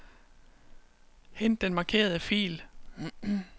Hent den markerede fil.